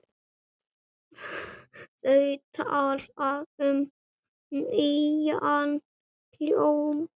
Þú talar um nýjan hljóm?